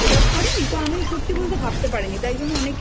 ওরকমভাবে develop করেনি তো আমিও সত্যি বলতে